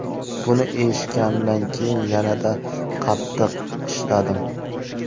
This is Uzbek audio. Buni eshitganimdan keyin yanada qattiq ishladim.